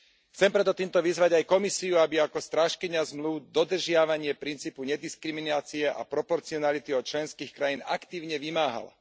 Chcem preto týmto vyzvať aj Komisiu, aby ako strážkyňa zmlúv dodržiavanie princípu nediskriminácie a proporcionality od členských krajín aktívne vymáhala.